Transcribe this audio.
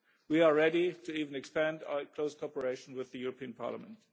We are ready to even expand our close cooperation with the European Parliament.